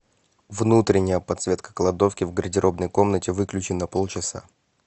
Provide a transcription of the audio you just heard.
внутренняя подсветка кладовки в гардеробной комнате выключи на полчаса